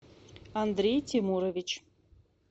андрей тимурович